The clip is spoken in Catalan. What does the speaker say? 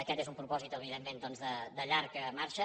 aquest és un propòsit evidentment doncs de llarga marxa